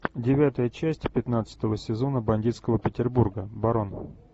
девятая часть пятнадцатого сезона бандитского петербурга барон